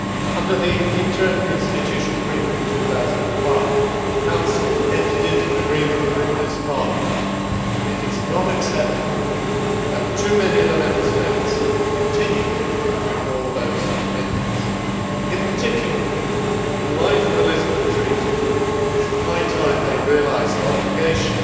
Under the interinstitutional agreement of 2005 the Council entered into an agreement with this Parliament and it is not acceptable that too many of the Member States continue to ignore those commitments. In particular, in light of the Lisbon Treaty, it is high time they realised the obligation